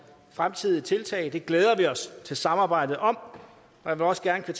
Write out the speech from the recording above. fremtidige tiltag det glæder vi os til samarbejdet om jeg vil også gerne